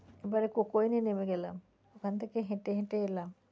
এবারে coke oven এ নেমে গেলাম ওখান থেকে হেঁটে হেঁটে এলাম।